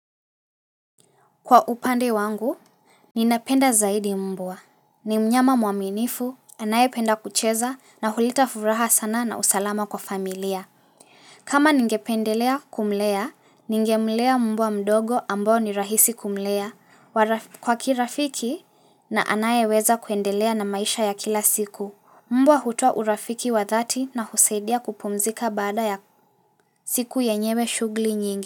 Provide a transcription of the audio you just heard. Kwa upande wangu, ninapenda zaidi mbua. Nimnyama mwaminifu, anaye penda kucheza na huleta furaha sana na usalama kwa familia. Kama ningependelea kumlea, ningemlea mbua mdogo ambao ni rahisi kumlea. Kwa kirafiki na anaye weza kuendelea na maisha ya kila siku. Mbua hutoa urafiki wa dhati na husaidia kupumzika bada ya siku yenyewe shugli nyingi.